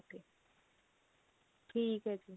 ਠੀਕ ਹੈ ਜੀ